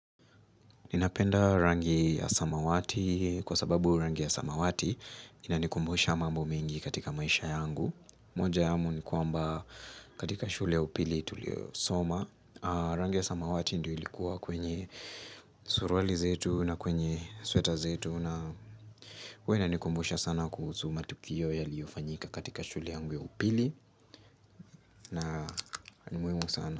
Ninapenda rangi ya samawati kwa sababu rangi ya samawati inanikumbusha mambo mingi katika maisha yangu. Moja yamo ni kwamba katika shule ya upili tuliyo soma. Rangi ya samawati ndio ilikuwa kwenye suruali zetu na kwenye sweta zetu na. Huwa ina nikumbusha sana kuhusu matukio yaliyofanyika katika shule yangu upili na ni muhimu sana.